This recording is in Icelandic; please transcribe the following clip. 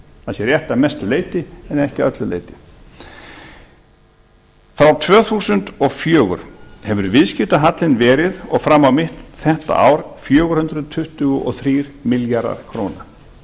það sé rétt að mestu leyti en ekki að öllu leyti frá tvö þúsund og fjögur hefur viðskiptahallinn verið og fram á mitt þetta ár fjögur hundruð tuttugu og þrír milljarðar króna